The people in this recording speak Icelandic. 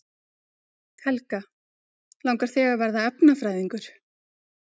Helga: Langar þig að verða efnafræðingur?